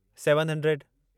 seven hundred